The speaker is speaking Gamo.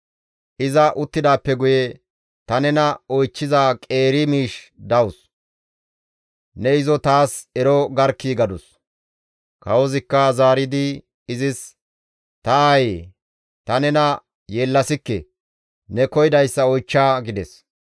Iza uttidaappe guye, «Ta nena oychchiza qeeri miishshi dawus; ne izo taas ero garkkii!» gadus. Kawozikka zaaridi izis, «Ta aayee, ta nena yeellasikke; ne koyidayssa oychcha» gides.